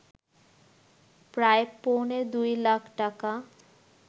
প্রায় পৌনে ২ লাখ টাকা